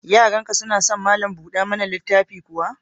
Yaranka suna son malam buɗa mana littafi kuwa?